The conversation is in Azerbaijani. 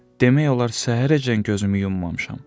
Demək olar səhərəcən gözümü yummamışam.